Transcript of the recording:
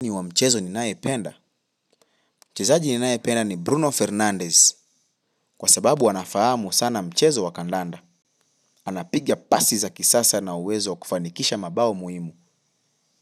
Ni wa mchezo ni nae penda? Chezaji ni nae penda ni Bruno Fernandez. Kwasababu ana fahamu sana mchezo wa kandanda anapiga pasi za kisasa na uwezo kufanikisha mabao muhimu.